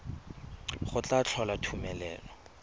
go tla tlhola gore tumelelo